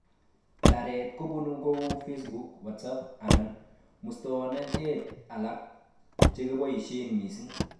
Taret kobun kou Facebook, WhatsApp, anan muswonotet alak chekoboishe mising